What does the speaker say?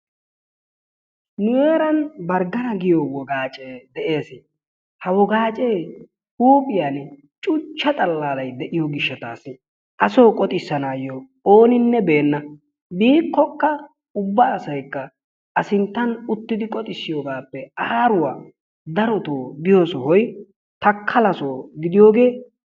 Nu heeran barggana giyoo woqaacee de'ees. Ha wogaacee huuphphiyaan cuuchcha xaalalay de'iyoo giishshatasi asoo qooxisanaasi ooninne beenna. biikkoka ubba asay a sinttan uttidi qoxisiyoogappe darotoo biyoo sohoy takala soo gidiyoogee.